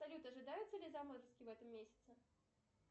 салют ожидаются ли заморозки в этом месяце